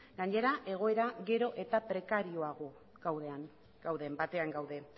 gainera egoera gero eta prekarioago batean gaude